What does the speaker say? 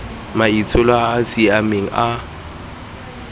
maitsholo a a siameng a